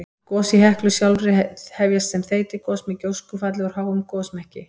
Gos í Heklu sjálfri hefjast sem þeytigos með gjóskufalli úr háum gosmekki.